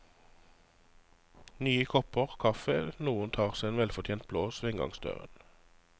Nye kopper kaffe, noen tar seg en velfortjent blås ved inngangsdøren.